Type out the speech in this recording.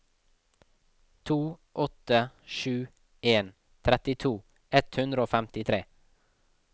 to åtte sju en trettito ett hundre og femtitre